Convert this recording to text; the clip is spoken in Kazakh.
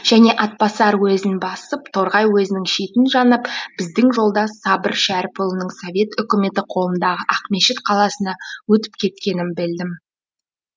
және атбасар уезін басып торғай уезінің шетін жанап біздің жолдас сабыр шәріпұлының совет үкіметі қолындағы ақмешіт қаласына өтіп кеткенін білдім